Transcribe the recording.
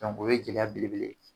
o ye gɛlɛya belebele ye